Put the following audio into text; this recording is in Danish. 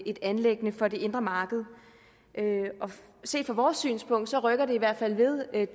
et anliggende for det indre marked set fra vores synspunkt rykker det i hvert fald ved